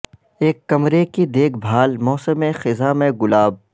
ایک کمرے کی دیکھ بھال موسم خزاں میں گلاب